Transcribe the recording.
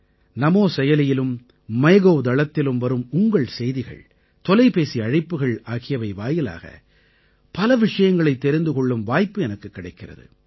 நமோ செயலியிலும் மைகோவ் தளத்திலும் வரும் உங்கள் செய்திகள் தொலைபேசி அழைப்புகள் ஆகியவை வாயிலாக பல விஷயங்களைத் தெரிந்து கொள்ளும் வாய்ப்பு எனக்குக் கிடைக்கிறது